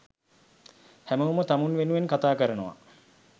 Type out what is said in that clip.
හැමෝම තමුන් වෙනුවෙන් කතාකරනවා